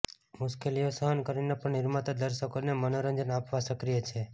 મુશ્કેલીઓ સહન કરીને પણ નિર્માતા દર્શકોને મનોરંજન આપવા સક્રિય છે